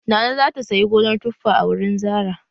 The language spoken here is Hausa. Nana za ta sayi gonar tuffa a wurin Zarah.